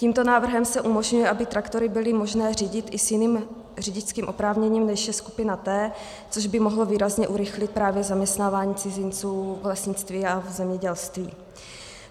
Tímto návrhem se umožňuje, aby traktory bylo možné řídit i s jiným řidičským oprávněním, než je skupina T, což by mohlo výrazně urychlit právě zaměstnávání cizinců v lesnictví a v zemědělství.